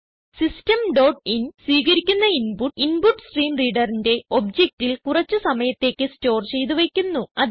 system dot in സ്വീകരിക്കുന്ന input InputStreamReaderന്റെ ഒബ്ജക്റ്റിൽ കുറച്ച് സമയത്തേക്ക് സ്റ്റോർ ചെയ്ത് വയ്ക്കുന്നു